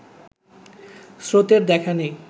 স্রোতের দেখা নেই